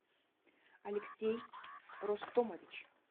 алексей ростомович